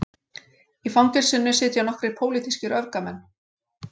Í fangelsinu sitja nokkrir pólitískir öfgamenn